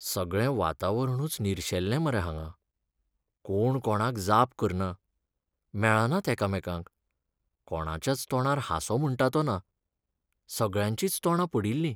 सगळें वातावरणूच निर्शेल्लें मरे हांगां. कोण कोणाक जाप करना, मेळनात एकामेकांक, कोणाच्याच तोंडार हांसो म्हुण्टा तो ना, सगळ्यांचींच तोंडां पडिल्लीं.